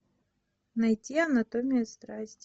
найти анатомия страсти